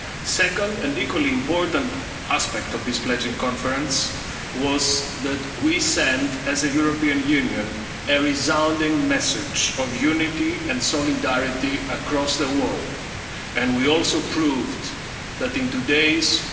Europe. The second and equally important aspect of this pledging conference was that we sent, as the European Union, a resounding message of unity and solidarity across the world, and we also proved that, in today's